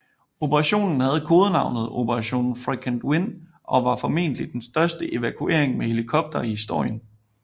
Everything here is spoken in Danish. Operationen havde kodenavnet Operation Frequent Wind og var formodentlig den største evakuering med helikoptere i historien